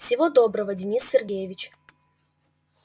всего доброго денис сергеевич